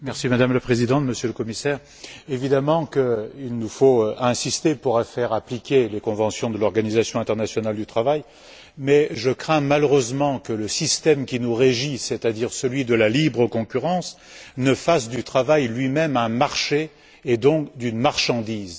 Madame la Présidente, Monsieur le Commissaire, il est évident qu'il nous faut insister pour faire appliquer les conventions de l'Organisation internationale du travail, mais je crains malheureusement que le système qui nous régit, c'est à dire celui de la libre concurrence, ne fasse du travail lui même un marché et donc une marchandise.